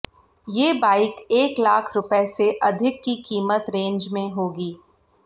ये बाइक एक लाख रुपये से अधिक की कीमत रेंज में होंगी